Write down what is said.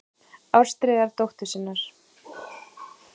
Ástríðar dóttur sinnar.